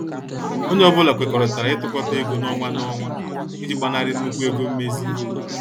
Onye ọ bụla kwekọrịtara itukota ego n' ọnwa n' ọnwa iji gbanari nnukwu ego mmezi.